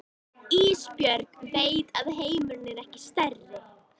Og Ísbjörg veit að heimurinn er ekki stærri.